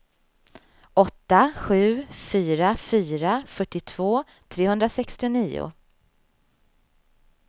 åtta sju fyra fyra fyrtiotvå trehundrasextionio